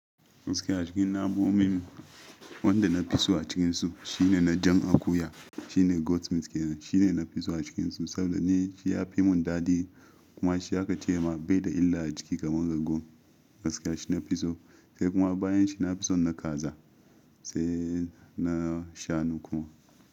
Gaskiya cikin namomin wanda na fi so a cikinsu shine na jan akuya shine Goat meat kenan shine na fi so a cikinsu saboda ni shi ya fimun dadin kuma shi aka ce ma bai da illa a jiki kamar ragon gaskiya shi na fi so sai kuma bayan shi na fi so na kaza sai na shanu kuma.